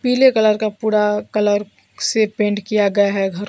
पीले कलर का पूरा कलर से पेंट किया गया हैं घर--